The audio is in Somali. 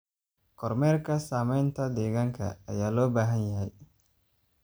Kormeerka saamaynta deegaanka ayaa loo baahan yahay.